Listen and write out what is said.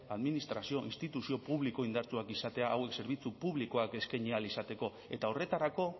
administrazio instituzio publiko indartsuak izatea hauek zerbitzu publikoak eskaini ahal izateko eta horretarako